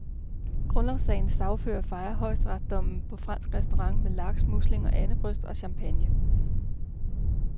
Grundlovssagens sagsøgere fejrede højesteretsdommen på fransk restaurant med laks, muslinger, andebryst og champagne.